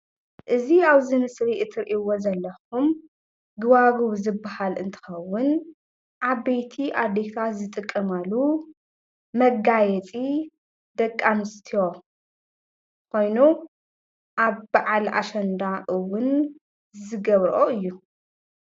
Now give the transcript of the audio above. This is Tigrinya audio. እዚ ኣብዚ ምስሊ ትሪእዎ ዘለኩም ጉባጉብ ዝበሃል እንትከዉን ዓበይቲ ኣዴታት ዝጥቀማሉ መጋየእዩ። ደቂ ኣንስትዮ ኮይኑ ኣብ በዓል ኣሸንዳ እዉን ዝገብርኦ እዩ